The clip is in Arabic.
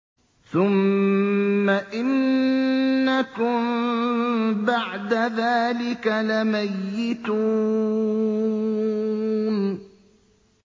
ثُمَّ إِنَّكُم بَعْدَ ذَٰلِكَ لَمَيِّتُونَ